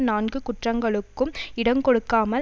நான்கு குற்றங்களுக்கும் இடங்கொடுக்காமல்